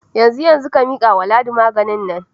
Yanzu yanzu, ka mika wa Ladi magen nan.